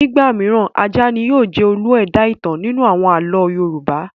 Nígbà mìíràn, ajá ni ó máa ń jẹ́ olú ẹ̀dá-ìtàn nínú àwọn àlọ́ Yorùbá.